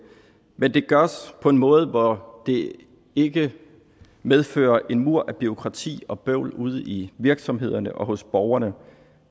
men det gøres på en måde hvor det ikke medfører en mur af bureaukrati og bøvl ude i virksomhederne og hos borgerne